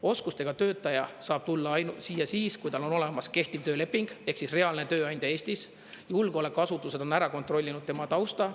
Oskustega töötaja saab tulla siia ainult siis, kui tal on olemas kehtiv tööleping ehk reaalne tööandja Eestis, julgeolekuasutused on kontrollinud tema tausta.